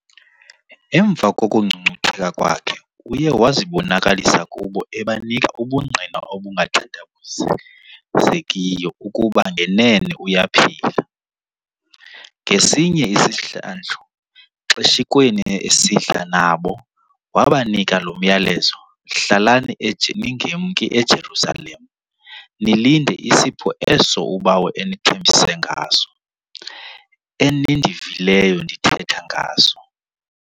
Emva kokungcungcutheka kwakhe uye wazibonakalisa kubo ebanika ubungqina obungathandabuzekiyo ukuba ngenene uyaphila. Ngesinye isihlandlo xeshikweni esidla nabo, wabanika lo myalelo "hlalani ningemki eJerusalema nilinde isipho eso uBawo enithembise ngaso, enindivileyo ndithetha ngaso".